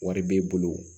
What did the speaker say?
Wari b'e bolo